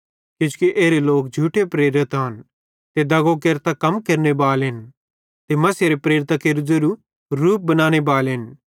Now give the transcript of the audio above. किजोकि एरे लोक झूठे प्रेरित आन ते दगो केरतां कम केरनेबालन ते मसीहेरे प्रेरितां केरू ज़ेरू रूप बनाने बालेन